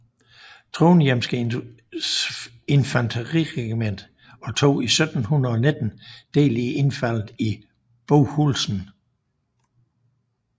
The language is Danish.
Trondhjemske Infanteriregiment og tog 1719 del i indfaldet i Bohuslen